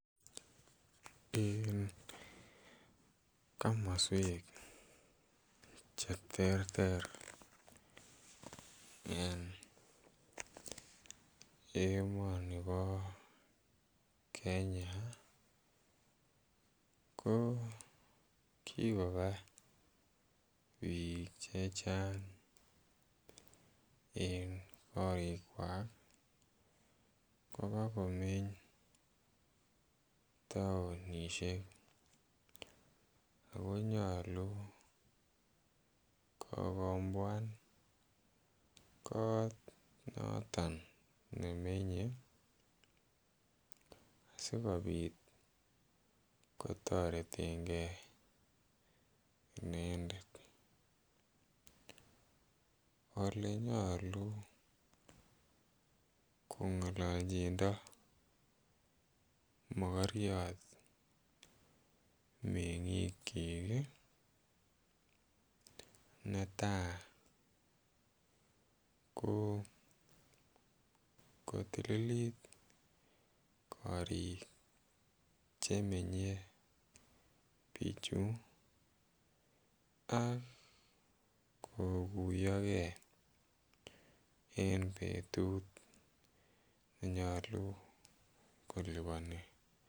Komoswek che terter en emoni bo Kenya ko kikoba biik chechang en korikwak kobaa komeny tounishek ako nyoluu kokobwan kot noton nememye asikopit kotoreten gee inendet ole nyoluu kongololjindo mokoriot mengiikyik ii netaa ko kotililit korik che menye bichu ak koguyogee en betut nenyoluu koliponi